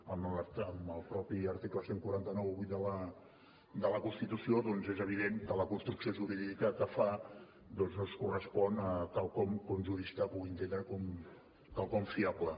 en el mateix article catorze noranta vuit de la constitució doncs és evident que la construcció jurídica que fa no es correspon amb quelcom que un jurista pugui entendre com a quelcom fiable